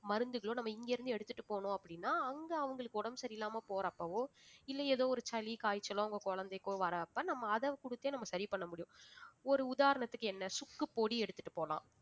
மருந்துகளோ நம்ம இங்க இருந்து எடுத்துட்டு போனோம் அப்படின்னா அங்க அவங்களுக்கு உடம்பு சரியில்லாம போறப்பவோ இல்லை ஏதோ ஒரு சளி காய்ச்சலோ உங்க குழந்தைக்கோ வர்றப்ப நம்ம அதை கொடுத்தே நம்ம சரி பண்ண முடியும் ஒரு ஒரு உதாரணத்துக்கு என்ன சுக்குப்பொடி எடுத்துட்டு போலாம்